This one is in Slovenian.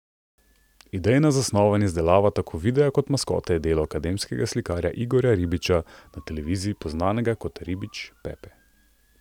Idejna zasnova in izdelava tako videa kot maskote je delo akademskega slikarja Igorja Ribiča, na televiziji poznanega kot Ribič Pepe.